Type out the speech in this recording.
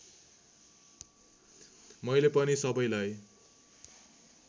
मैले पनि सबैलाई